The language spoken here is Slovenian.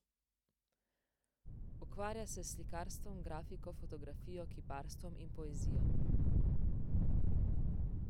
Ukvarja se s slikarstvom, grafiko, fotografijo, kiparstvom in poezijo.